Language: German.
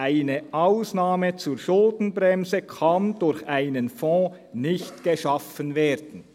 «Eine Ausnahme zur Schuldenbremse kann durch einen Fonds nicht geschaffen werden.»